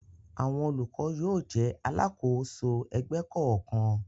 Àwọn olùkọ́ yóò jẹ́ alákòóso ẹgbẹ́ kọ̀ọ̀kan.